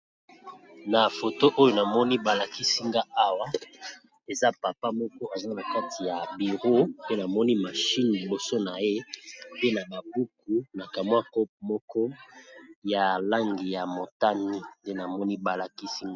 Na foto oyo namoni balakisi nga awa eza papa moko eza na kati ya bireau. Pe namoni mashine liboso na ye pe na babuku na kamwa cope moko ya langi ya motane nte namoni balakisi nga.